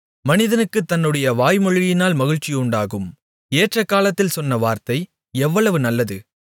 மனிதனுக்குத் தன்னுடைய வாய்மொழியினால் மகிழ்ச்சியுண்டாகும் ஏற்றகாலத்தில் சொன்ன வார்த்தை எவ்வளவு நல்லது